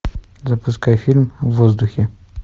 запускай фильм в воздухе